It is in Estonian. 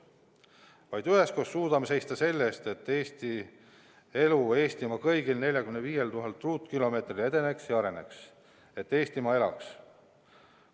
Vaid üheskoos suudame seista selle eest, et elu Eestimaa kõigil 45 000 ruutkilomeetril edeneks ja areneks, et Eestimaa elaks.